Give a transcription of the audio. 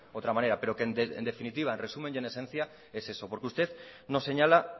otra manera pero que en definitiva en resumen y en esencia es eso porque usted nos señala